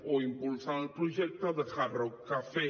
o impulsen el projecte de hard rock cafe